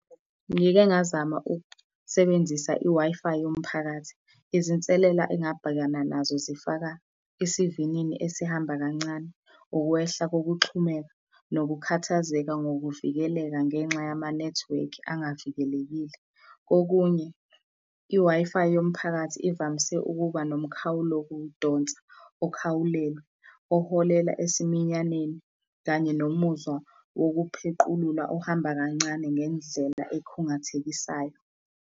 Ngike ngazama ukusebenzisa i-Wi-Fi yomphakathi. Izinselela engabhekana nazo zifaka isivinini esihamba kancane, ukwehla kokuxhumeka nokukhathazeka ngokuvikeleka ngenxa yamanethiwekhi angavikelekile. Okunye, i-Wi-Fi yomphakathi ivamise ukuba nomkhawulokudonsa oholela esiminyaneni, kanye nomuzwa wokuphequlula ohamba kancane ngendlela ekhungathekisayo.